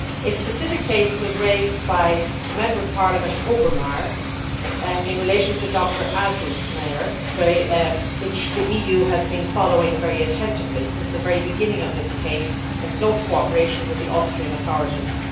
A specific case was raised by Member of Parliament Obermayr in relation to Dr Adelsmayr, which the EU has been following very attentively since the very beginning of this case, in close cooperation with the Austrian authorities.